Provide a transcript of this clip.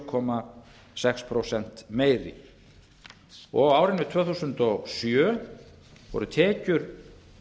komma sex prósentum meiri og á árinu tvö þúsund og sjö voru tekjur